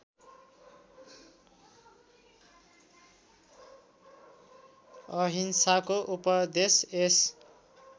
अहिंसाको उपदेश यस